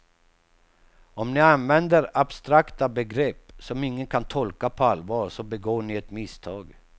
Om ni använder abstrakta begrepp som ingen kan tolka på allvar så begår ni ett misstag.